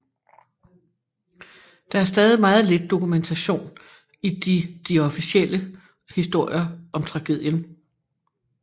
Der er stadig meget lidt dokumentation i de de officielle historier om tragedien